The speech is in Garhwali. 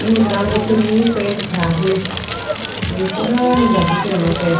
यूंक रंग उत्र्युं पेंट ख़राब हुयुं अर ये पुराणु घर दिखेणु कै।